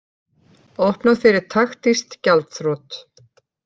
Opnað fyrir taktísk gjaldþrot